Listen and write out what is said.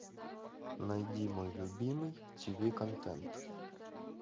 найди мой любимый тиви контент